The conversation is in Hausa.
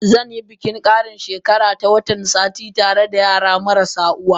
Zanyi bikin kara she kara ta Wata satin tareda yara marasu uwa.